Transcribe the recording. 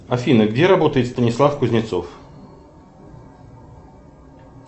афина где работает станислав кузнецов